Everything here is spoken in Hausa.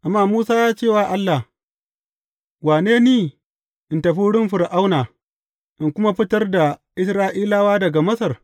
Amma Musa ya ce wa Allah, Wane ni in tafi wurin Fir’auna, in kuma fitar da Isra’ilawa daga Masar?